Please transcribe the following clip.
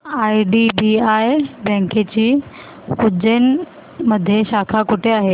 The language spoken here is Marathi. आयडीबीआय बँकेची उज्जैन मध्ये शाखा कुठे आहे